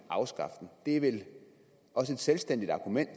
afskaffe den det er vel også et selvstændigt argument